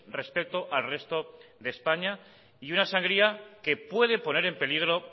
respeto al resto de españa y una sangría que puede poner en peligro